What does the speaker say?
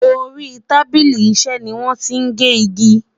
Orí tábìlì iṣé ní wọn tí gé ìgi